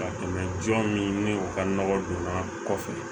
Ka tɛmɛ jɔn min ni o ka nɔgɔ donna kɔfɛ